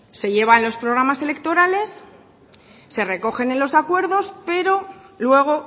se lleva en los programas electorales se recogen en los acuerdos pero luego